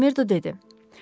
Makmerdo dedi.